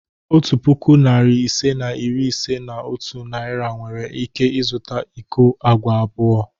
Otu puku, narị ise na iri ise na otu Naira nwere ike zụta iko agwa abụọ.